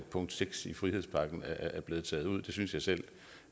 punkt seks i frihedspakken er blevet taget ud det synes jeg selv